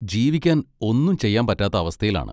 ജീവിക്കാൻ ഒന്നും ചെയ്യാൻ പറ്റാത്ത അവസ്ഥയിലാണ്?